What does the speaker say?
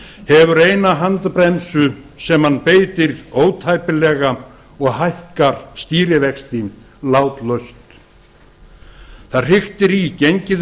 hefur eina handbremsu sem hann beitir ótæpilega og hækkar stýrivexti látlaust það hriktir í gengið